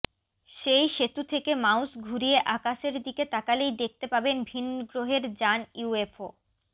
সেই সেতু থেকে মাউস ঘুরিয়ে আকাশের দিকে তাকালেই দেখতে পাবেন ভিনগ্রহের যান ইউএফও